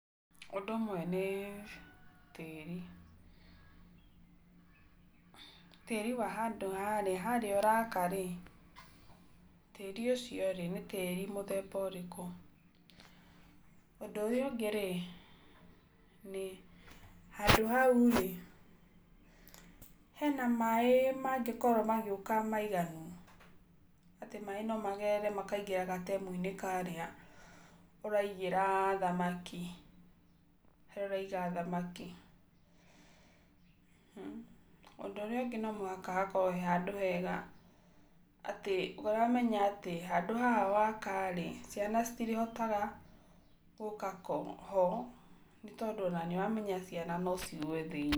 Ũndũ ũmwe nĩ tĩri. Tĩri wa handũ harĩa, harĩa ũraka-rĩ, tĩri ũcio-rĩ nĩ tĩri mũthemba ũrĩkũ. Ũndũ ũrĩa ũngĩ-rĩ, nĩ handũ haũ-rĩ, he na maĩ, mangĩkorwo magĩũka maiganu. Atĩ maĩ no magerere makaingĩra gatemu-inĩ karĩa, ũraigĩra thamaki, harĩa ũraiga thamaki. Ũndũ ũrĩa ũngĩ no mũhaka hakorwo he handũ hega, atĩ ũramenya atĩ, handũ haha waka-rĩ, ciana citirĩhotaga gũka ho, nĩtondũ ona nĩũramenya ciana no cigũe thĩiniĩ.